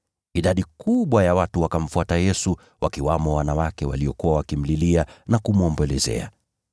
Idadi kubwa ya watu wakamfuata Yesu, wakiwamo wanawake waliokuwa wakimlilia na kumwombolezea.